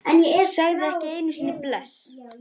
Sagði ekki einu sinni bless.